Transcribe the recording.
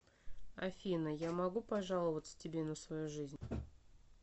афина я могу пожаловаться тебе на свою жизнь